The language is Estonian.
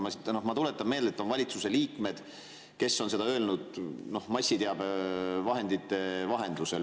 Aga ma tuletan meelde, et on valitsuse liikmeid, kes on seda öelnud massiteabevahendite vahendusel.